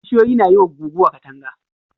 Bishiyoyi na yi wa guguwa katanga.